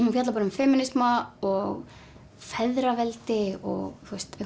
hún fjallar um femínisma og feðraveldi og